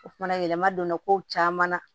O fana yɛlɛma donna kow caman na